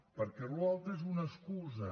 perquè allò altre és una excusa